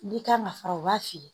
N'i kan ka fara u b'a fili